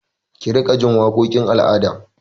Ki riƙa ji waƙokin al'ada!